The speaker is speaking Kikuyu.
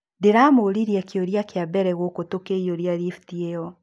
Ndiramũũririe kiũria kĩa mbere guku tukĩiyũria rifti ĩyo.